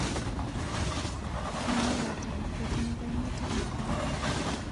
Ini, wataam kotinye kaimutik ap nee?